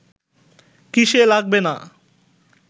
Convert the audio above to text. কিসে লাগবে না